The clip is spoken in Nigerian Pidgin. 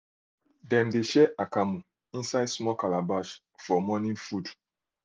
dem de share akamu inside small calabash for morning food